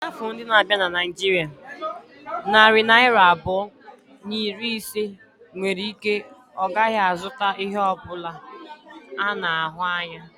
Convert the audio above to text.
N'afọ ndị na-abịa na Naijiria, narị naira abụọ na iri ise nwere ike ọ gaghị azụta ihe ọ bụla a na-ahụ anya.